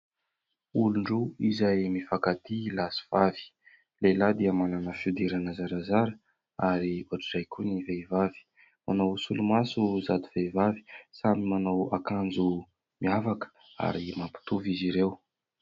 Olon-droa izay mifankatia, lahy sy vavy, ny lehilahy dia manana fihodirana zarazara ary ohatr'izay koa ny vehivavy, manao solomaso sady vehivavy samy manao akanjo miavaka ary mampitovy izy ireo.